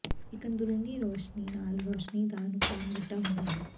ਇਕ ਅੰਦਰੂਨੀ ਰੌਸ਼ਨੀ ਨਾਲ ਰੋਸ਼ਨੀ ਦਾ ਨੁਕਸਾਨ ਵੱਡਾ ਹੁੰਦਾ ਹੈ